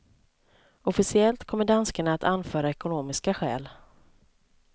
Officiellt kommer danskarna att anföra ekonomiska skäl.